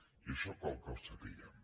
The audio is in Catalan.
i això cal que ho sapiguem